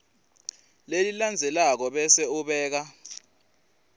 lelilandzelako bese ubeka